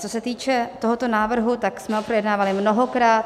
Co se týče tohoto návrhu, tak jsme ho projednávali mnohokrát.